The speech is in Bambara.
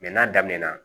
n'a daminɛna